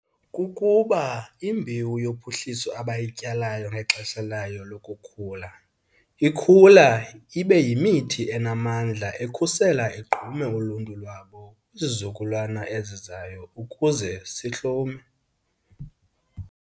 kukuba imbewu yophuhliso abayityalayo ngexesha layo lokukhula, ikhula ibe yimithi enamandla ekhusela igqume uluntu lwabo kwizizukulwana ezizayo ukuze sihlume.